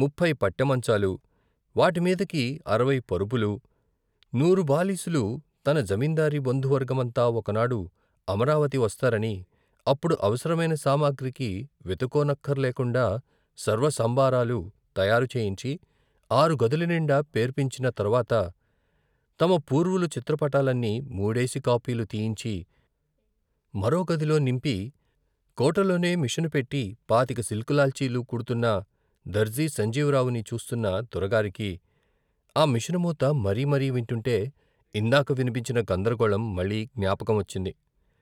ముప్పయి పట్టెమంచాలు, వాటి మీదికి అరవై పరుపులు, నూరు బాలీసులు తన జమీందారీ బంధువర్గమంతా ఒకనాడు అమరావతి వస్తారని, అప్పుడు అవసరమైన సామాగ్రికి వెతుక్కోనక్కర లేకుండా సర్వ సంబారాలు తయారు చేయించి అరు గదులనిండా పేర్పించిన తర్వాత తమ పూర్వుల చిత్ర పటాలన్నీ మూడేసి కాపీలు తీయించి మరో గదిలో నింపి కోటలోనే మిషను పెట్టి పాతిక సిల్కు లాల్చీలు కుడుతున్న దర్జీ సంజీవరావుని చూస్తున్న దొర గారికి ఆ మిషను మోత మరీ మరీ వింటుంటే ఇందాక విన్పించిన గందరగోళం మళ్ళీ జ్ఞాపకం వచ్చింది.